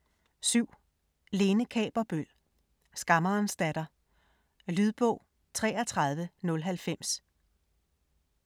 7. Kaaberbøl, Lene: Skammerens datter Lydbog 33090